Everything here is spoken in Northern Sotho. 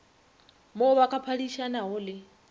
mo ba ka phadišanago le